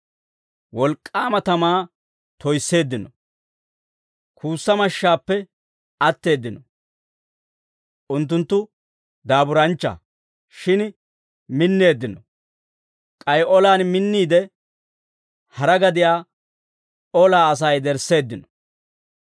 Wolk'k'aama tamaa toyisseeddino; kuussa mashshaappe atteeddino; unttunttu daaburanchcha; shin minneeddino; k'ay olaan minniide, hara gadiyaa olaa asaa yedersseeddino.